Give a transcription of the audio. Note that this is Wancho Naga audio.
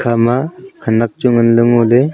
ama khanak chu nganley ngoley.